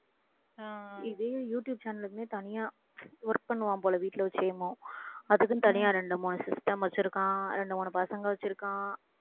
ஆஹ் இதையும் YouTube channel க்குன்னே தனியா work பண்ணுவான் போல அதுக்குன்னு தனியா ரெண்டு மூணு system வச்சிருக்கான் ரெண்டு மூணு பசங்க வச்சிருக்கான்